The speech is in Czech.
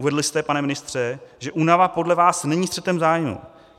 Uvedl jste, pane ministře, že únava podle vás není střetem zájmů.